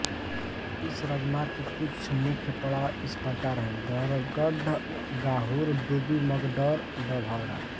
इस राजमार्ग के कुछ मुख्य पड़ाव इस प्रकार हैं बरगढ़ गाहुर डूबी मगडौर डभौरा